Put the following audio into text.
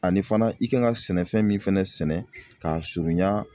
Ani fana i kan ka sɛnɛfɛn min fɛnɛ sɛnɛ k'a surunya